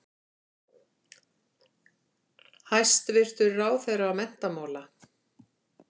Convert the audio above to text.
Hæstvirtur ráðherra menntamála.